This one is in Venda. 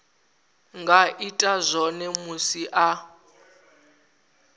nga ita zwone musi a